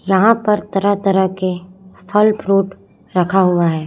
जहां पर तरह तरह के फल फ्रूट रखा हुआ है।